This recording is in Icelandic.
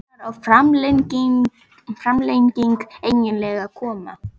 Hvenær á framlengingin eiginlega að koma??